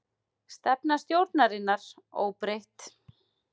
Stefna stjórnarinnar óbreytt